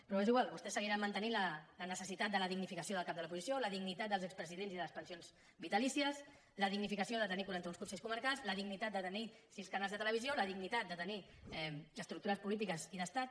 però és igual vostès seguiran mantenint la necessitat de la dignificació del cap de l’oposició la dignitat dels expresidents i de les pensions vitalícies la dignificació de tenir quaranta un consells comarcals la dignitat de tenir sis canals de televisió la dignitat de tenir estructures polítiques i d’estat